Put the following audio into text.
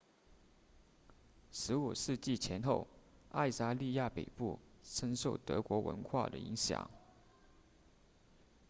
15世纪前后爱沙尼亚北部深受德国文化的影响